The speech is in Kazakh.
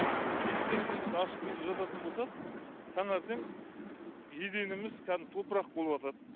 есік тереземізді ашып түнде жататын болсақ таңертең еденіміз кәдімгі топырақ болыватады